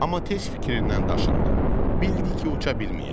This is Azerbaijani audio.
Amma tez fikrindən daşındı, bildi ki, uça bilməyəcək.